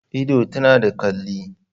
Idon ta yana ta kalli